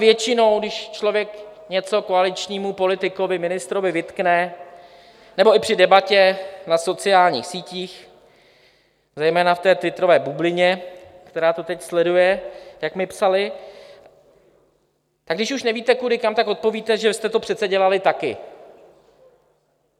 Většinou když člověk něco koaličnímu politikovi, ministrovi vytkne - nebo i při debatě na sociálních sítích, zejména v té twitterové bublině, která to teď sleduje, jak mi psali - tak když už nevíte, kudy kam, tak odpovíte, že jsme to přece dělali taky.